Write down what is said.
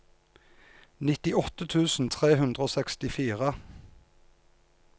nittiåtte tusen tre hundre og sekstifire